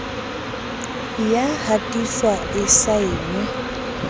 e ya hatiswa e saenwe